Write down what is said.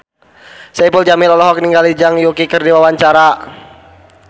Saipul Jamil olohok ningali Zhang Yuqi keur diwawancara